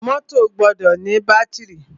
Mọ́tọ̀ gbọdọ ní bátìrì.